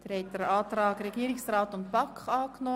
Wir kommen somit zur Abstimmung über Artikel 40 Absatz 4 (neu).